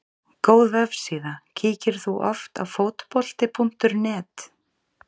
Góð vefsíða Kíkir þú oft á Fótbolti.net?